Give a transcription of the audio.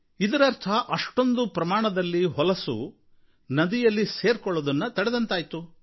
ಇದರರ್ಥ ಅಷ್ಟೊಂದು ಪ್ರಮಾಣದಲ್ಲಿ ಹೊಲಸು ನದಿಯಲ್ಲಿ ಸೇರಿಕೊಳ್ಳುವುದನ್ನು ತಡೆದಂತಾಯಿತು